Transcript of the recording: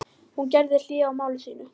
Hún gerði hlé á máli sínu.